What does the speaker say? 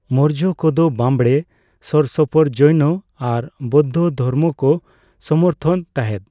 ᱢᱳᱨᱡᱚ ᱠᱚᱫᱚ ᱵᱟᱸᱵᱽᱲᱮ ᱥᱳᱨ ᱥᱳᱯᱳᱨ ᱡᱳᱭᱱᱚ ᱟᱨ ᱵᱳᱫᱽᱫᱷᱚ ᱫᱷᱚᱨᱚᱢ ᱠᱚ ᱥᱚᱢᱚᱨᱛᱷᱚᱱ ᱛᱟᱦᱮᱸᱫ ᱾